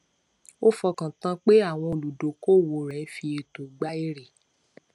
ó fọkàn tán pé àwọn olùdókòwò rẹ ń fi ẹtọ gbà èrè